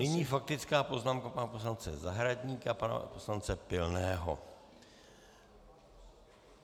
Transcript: Nyní faktická poznámka pana poslance Zahradníka a pana poslance Pilného.